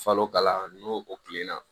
Falo kalan n'o o kilenna